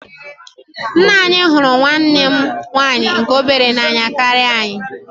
Nna anyị hụrụ nwanne m nwaanyị nke obere n'anya karịa anyị.